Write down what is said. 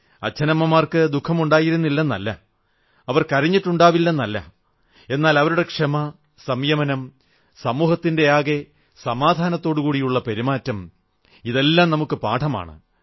അച്ഛനമ്മമാർക്ക് ദുഃഖമുണ്ടായിരുന്നില്ലെന്നല്ല അവർ കരഞ്ഞിട്ടുണ്ടാവില്ലെന്നല്ല എന്നാൽ അവരുടെ ക്ഷമ സംയമനം സമൂഹത്തിന്റെയാകെ സമാധാനത്തോടെയുള്ള പെരുമാറ്റം ഇതെല്ലാം നമുക്കു പാഠമാണ്